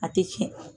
A tɛ tiɲɛ